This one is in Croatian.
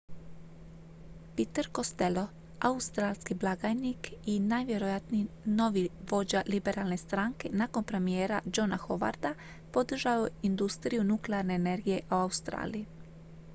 peter costello australski blagajnik i najvjerojatniji novi vođa liberalne stranke nakon premijera johna howarda podržao je industriju nuklearne energije u australiji